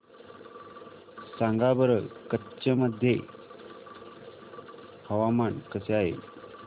सांगा बरं कच्छ मध्ये हवामान कसे आहे